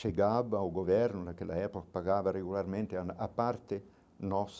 Chegava o governo, naquela época pagava regularmente a a parte nossa,